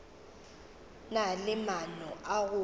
na le maano a go